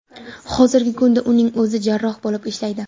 Hozirgi kunda uning o‘zi jarroh bo‘lib ishlaydi.